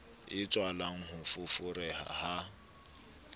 e tswalang ho foforeha ha